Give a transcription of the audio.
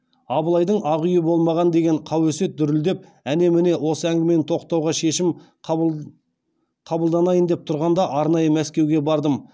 абылайдың ақ үйі болмаған деген қауесет дүрілдіп әне міне осы әңгімені тоқтауға шешім қабылданайын деп тұрғанда арнайы мәскеуге бардым